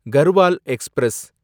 Garhwal express